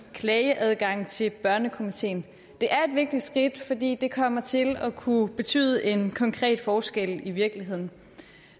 klageadgang til børnekomiteen det er et vigtigt skridt fordi det kommer til at kunne betyde en konkret forskel i virkeligheden